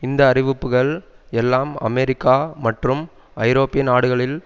இந்த அறிவிப்புகள் எல்லாம் அமெரிக்கா மற்றும் ஐரோப்பிய நாடுகளில்